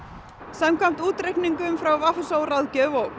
samkvæmt útreikningum frá v s ó ráðgjöf og